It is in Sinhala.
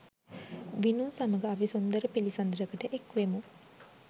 විනූ සමග අපි සුන්දර පිළිසඳරකට එක්වෙමු